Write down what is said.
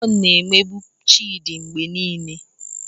John na-emegbu Chidi mgbe niile